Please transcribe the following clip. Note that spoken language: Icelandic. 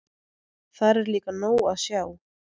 Þar er líka nóg að sjá.